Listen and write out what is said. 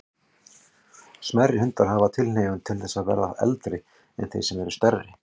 Smærri hundar hafa tilhneigingu til þess að verða eldri en þeir sem eru stærri.